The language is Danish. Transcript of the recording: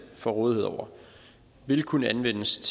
får rådighed over vil kunne anvendes til